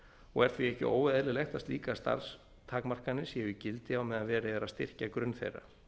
og er því ekki óeðlilegt að slíkar starfstakmarkanir séu í gildi á meðan verið er að styrkja grunn þeirra